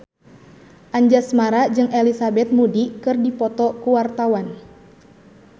Anjasmara jeung Elizabeth Moody keur dipoto ku wartawan